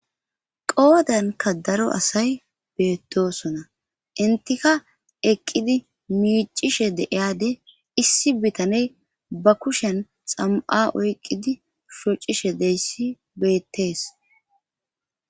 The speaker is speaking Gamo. qoodanka daro asay beettosona intika eqqidi miicishe deiyade issi bitaney ba kushen xam7a oyqqidi sucishe deyssi beettees